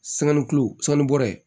kulo bɔra yen